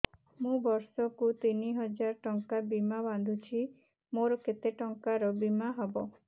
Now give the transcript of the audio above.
ମୁ ବର୍ଷ କୁ ତିନି ହଜାର ଟଙ୍କା ବୀମା ବାନ୍ଧୁଛି ମୋର କେତେ ଟଙ୍କାର ବୀମା ହବ